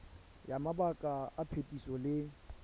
ya mabaka a phetiso le